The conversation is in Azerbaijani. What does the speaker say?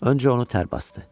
Öncə onu tər basdı.